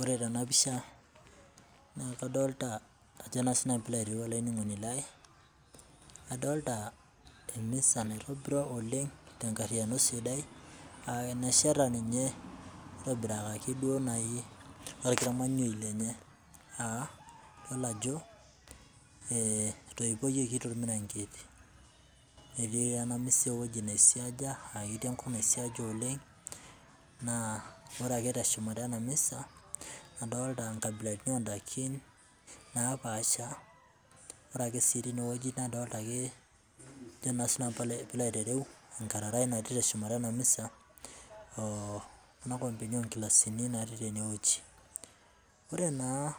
Ore tenapisha naa kadolita ajo sii nanu pilo aitereu olainining'oni lai, adolita emisa naitobiro oleng te nkariyano sidai aa mesheta ninye neitobirakaki duo nai olkimanyoi lenye aa iyolo ajo esipayoki te ilburangeti, etii ena misa ewueji nesiecha, aa ketii enkop nasiecha oleng, naa ore ake te shumata ena misa adolita nkabilaritin oondaiki opaasha, ore sii teine wueji nadolita ake, ajo sii nanu pilo aitereu enkarai natii te shumata ena misa, enaa enkikomeni ongilasini natii tene wueji. Ore naa